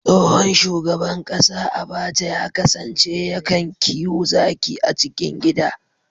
Tsohon shugaban kasa Abaca ya kasance ya kan kiwo zaki a cikin gida